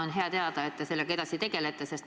On hea teada, et te sellega edasi tegelete.